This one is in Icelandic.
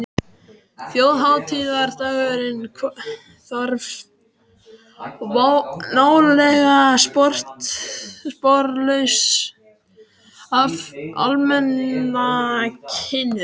Þjóðhátíðardagurinn hvarf nálega sporlaust af almanakinu.